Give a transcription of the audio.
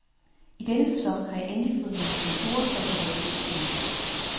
I denne sæson har jeg endelig fået nogle sponsorer, så jeg kan holde skindet på næsen.